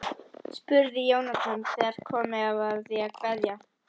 spurði Jónatan þegar komið var að því að kveðja.